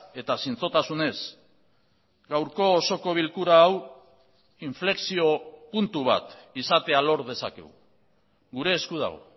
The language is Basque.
eta zintzotasunez gaurko osoko bilkura hau inflexio puntu bat izatea lor dezakegu gure esku dago